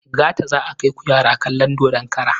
Gata za a kaiku yara kalon dodon kara.